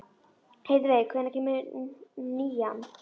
Heiðveig, hvenær kemur nían?